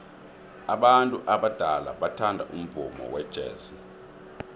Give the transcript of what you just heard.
abantu abadala bathanda umvumo wejazz